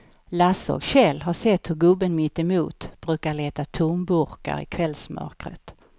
Lasse och Kjell har sett hur gubben mittemot brukar leta tomburkar i kvällsmörkret.